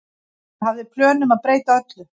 Ég hafði plön um að breyta öllu.